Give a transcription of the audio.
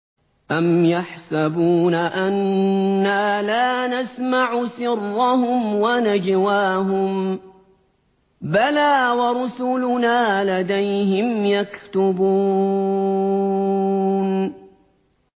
أَمْ يَحْسَبُونَ أَنَّا لَا نَسْمَعُ سِرَّهُمْ وَنَجْوَاهُم ۚ بَلَىٰ وَرُسُلُنَا لَدَيْهِمْ يَكْتُبُونَ